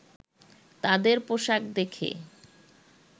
তাদের পোশাক দেখে